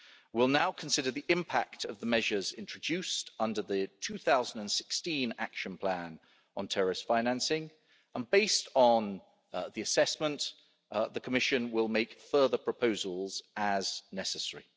We will now consider the impact of the measures introduced under the 2016 Action Plan on terrorist financing and, based on the assessment, the Commission will make further proposals as necessary.